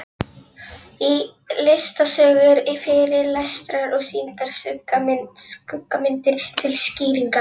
Í listasögu eru fyrirlestrar og sýndar skuggamyndir til skýringar.